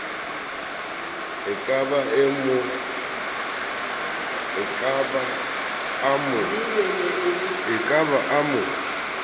a ka be a mo